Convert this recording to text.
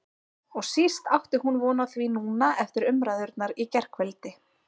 Og síst átti hún von á því núna eftir umræðurnar í gærkvöldi.